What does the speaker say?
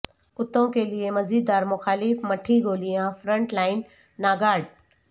کتوں کے لئے مزیدار مخالف مٹھی گولیاں فرنٹ لائن ناگارڈ